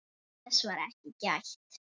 Þess var ekki gætt.